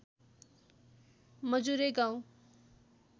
मजुरे गाउँ